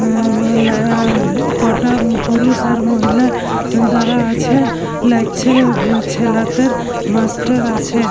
হুম লাআ কটা পুরুষ আর মহিলা দাঁড়া আছে। লাগছে ছেলেদের মাস্টার আছে।